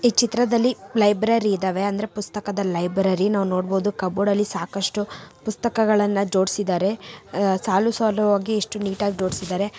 ಈ ಚಿತ್ರದಲ್ಲಿ ಲೈಬ್ರರೀ ಇದವೆ. ಅಂದರೆ ಪುಸ್ತಕದ ಲೈಬ್ರರೀ ನಾವು ನೋಡಬಹುದು ಕಬೋರ್ಡ್ ಅಲ್ಲಿ ಸಾಕಷ್ಟು ಪುಸ್ತಕಗಳನ್ನ ಜೋಡಿಸಿದರೆ. ಸಾಲು ಸಾಲಾಗಿ ಎಷ್ಟು ನೀಟಾಗಿ ಜೋಡಿಸಿದರೆ.